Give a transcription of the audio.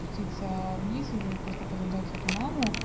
спуститься вниз или просто подождать эту маму